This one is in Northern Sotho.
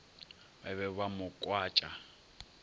ba be ba mo kwatša